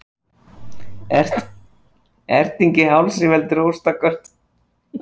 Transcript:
Erting í hálsi veldur hóstaköstunum.